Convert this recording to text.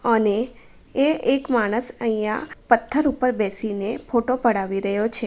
અને એ એક માણસ પથ્થર ઉપર બેસીને ફોટો પડાવી રહ્યો છે.